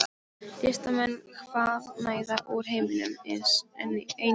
Listamenn hvaðanæva úr heiminum- einnig frá